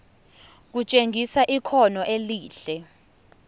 kutshengisa ikhono elihle